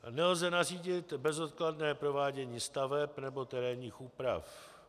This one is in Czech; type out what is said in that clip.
Nelze nařídit bezodkladné provádění staveb nebo terénních úprav.